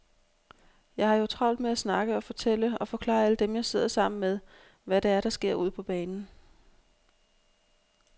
Jeg har jo travlt med at snakke og fortælle og forklare alle dem, jeg sidder sammen med, hvad det er, der sker ude på banen.